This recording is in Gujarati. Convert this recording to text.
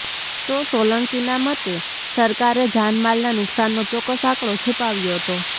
તો સોલંકીના મતે સરકારે જાનમાલના નુકસાનનો ચોકક્સ આંકડો છૂપાવ્યો હતો